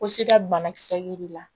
Ko sida banakisɛ de la